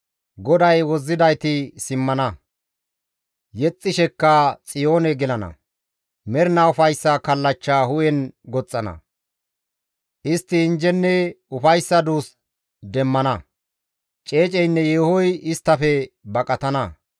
GODAY wozzidayti simmana; yexxishekka Xiyoone gelana; mernaa ufayssa kallachcha hu7en goxxana; istti injjenne ufayssa duus demmana; ceeceynne yeehoy isttafe baqatana.